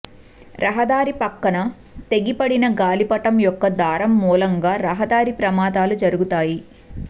రహదారి ప్రక్కన తెగిపడిన గాలిపటం యొక్క దారం మూలంగా రహదారి ప్రమాదాలు జరుగుతాయి